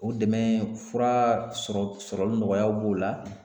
O dɛmɛ fura sɔrɔli nɔgɔyaw b'o la